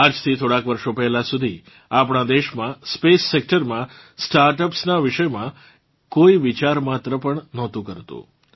આજથી થોડાંક વર્ષો પહેલાં સુધી આપણાં દેશમાં SpaceSectorમાં સ્ટાર્ટઅપ્સ નાં વિષયમાં કોઇ વિચાર માત્ર પણ નહોતું કરતું